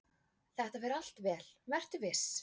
"""Þetta fer allt vel, vertu viss!"""